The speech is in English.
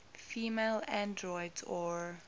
female androids or